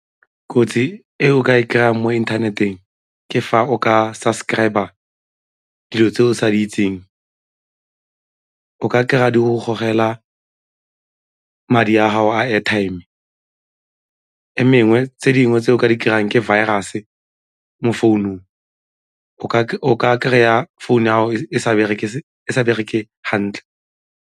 Kotsi e o ka e kry-ang mo inthaneteng ke fa o ka sa subscriber dilo tse o sa di itseng, o ka kry-a di go gogela madi a gago a airtime, tse dingwe tse o ka di kry-ang ke virus-e mo founung o ka kry-a founu ya gago e sa bereke hantle.